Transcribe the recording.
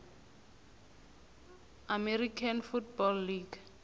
american football league